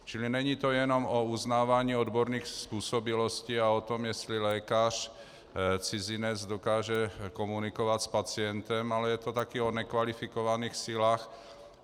Čili není to jenom o uznávání odborných způsobilostí a o tom, jestli lékař cizinec dokáže komunikovat s pacientem, ale je to taky o nekvalifikovaných silách.